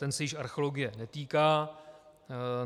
Ten se již archeologie netýká.